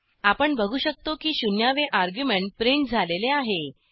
आपण बघू शकतो की शून्यावे अर्ग्युमेंट प्रिंट झालेले आहे